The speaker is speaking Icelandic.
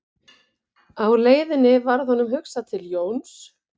Á leiðinni varð honum hugsað til Jóns